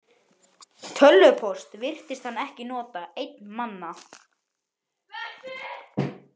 Tölvupóst virtist hann ekki nota, einn manna.